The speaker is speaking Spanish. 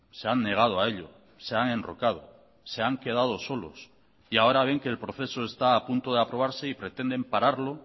se han negado a ello se han enrocado se han quedado solos y ahora ven que el proceso está a punto de aprobarse y pretenden pararlo